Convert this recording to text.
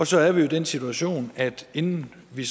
så er vi jo i den situation at vi inden vi